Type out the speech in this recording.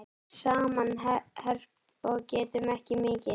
Saman herpt og getum ekki mikið.